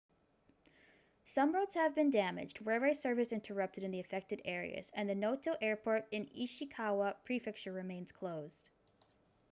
some roads have been damaged railway service interrupted in the affected areas and the noto airport in ishikawa prefecture remains closed